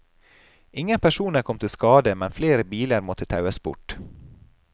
Ingen personer kom til skade, men flere biler måtte taues bort.